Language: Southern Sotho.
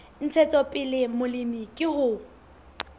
ntshetsopele ya molemi ke ho